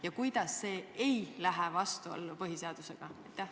Ja kuidas see ei lähe vastuollu põhiseadusega?